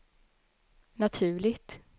naturligt